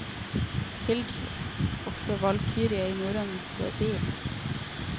Hildr også valkyrie i norrøn poesi.